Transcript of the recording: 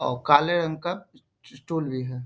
और काले रंग का स्टूल भी है।